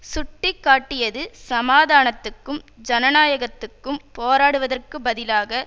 சுட்டி காட்டியது சமாதானத்துக்கும் ஜனநாயகத்துக்கும் போராடுவதற்கு பதிலாக